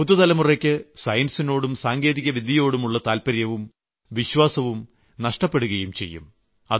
പുതുതലമുറയ്ക്ക് സയൻസിനോടും സാങ്കേതികവിദ്യയോടുമുള്ള താല്പര്യവും വിശ്വാസവും നഷ്ടപ്പെടുകയും ചെയ്യും